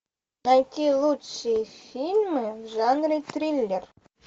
найти лучшие фильмы в жанре триллер